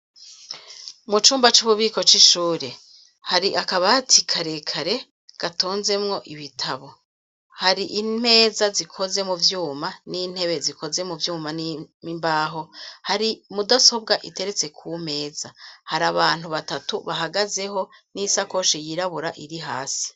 Mu cumba c'ububiko c'ishure hari akabatii karekare gatonzemwo ibitabo hari impeza zikoze mu vyuma n'intebe zikoze mu vyuma n'imimbaho hari mu dasobwa iteretse ku meza hari abantu batatu bahagazeho n'isakoshe yirabura iri hasi.